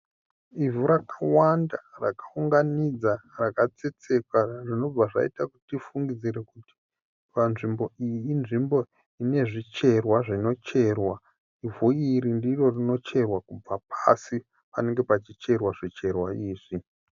Ivhu rakawanda rakaunganidzwa rakatsetseka zvinobva zvaita kuti tifungidzire kuti panzvimbo iyi inzvimbo ine zvicherwa zvinocherwa. Ivhu iri ndiro rinocherwa kubva pasi panenge pachicherwa zvicherwa izvi.